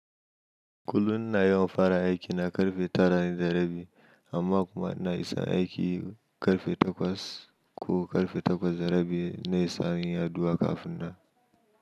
Kullum ina yawan fara aiki na karfe tara na dare, amma kuma ina isa aiki karfe takwas ko karfe takwas da rabi, na isa yin addu’a kafin nan.